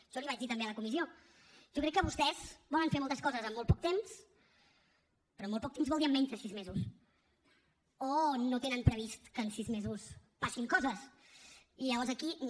jo l’hi vaig dir també a la comissió jo crec que vostès volen fer moltes coses en molt poc temps però en molt poc temps vol dir en menys de sis mesos o no tenen previst que en sis mesos passin coses i llavors aquí no